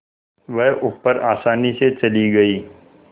वह ऊपर आसानी से चली गई